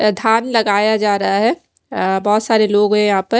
धान लगाया जा रहा है बहुत सारे लोग हैं यहाँ पर --